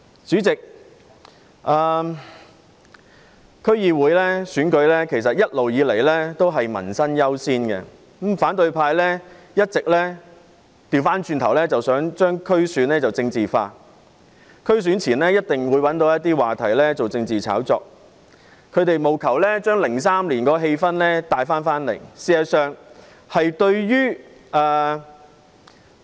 主席，區議會選舉一直也是以民生優先，但反對派一直想把區議會選舉政治化，選舉前必定找話題作政治炒作，務求將2003年的氣氛帶回來。